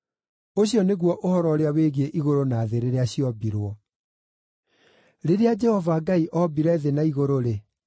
Ũcio nĩguo ũhoro ũrĩa wĩgiĩ igũrũ na thĩ rĩrĩa ciombirwo. Rĩrĩa Jehova Ngai ombire thĩ na igũrũ-rĩ,